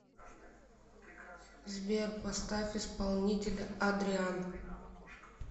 сбер поставь исполнителя адриан